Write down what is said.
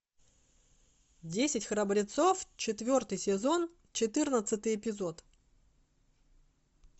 десять храбрецов четвертый сезон четырнадцатый эпизод